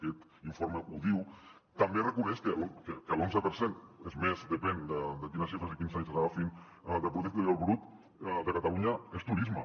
aquest informe ho diu també reconeix que l’onze per cent és més depèn de quines xifres i quins anys agafin del producte interior brut de catalunya és turisme